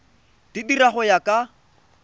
di dira go ya ka